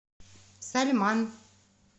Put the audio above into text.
сальман